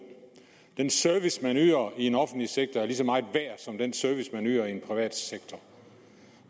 den service man yder i den offentlige sektor er lige så meget værd som den service man yder i den private sektor